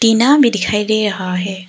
टीना भी दिखाई दे रहा है।